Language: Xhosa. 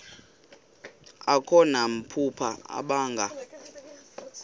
akho namaphupha abanga